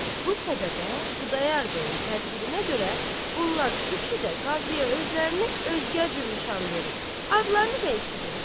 Bu səbəbə Xudayar bəyin tədbirinə görə bunlar üçü də qaziyə özlərini özgə cür nişan verib, adlarını dəyişiblər.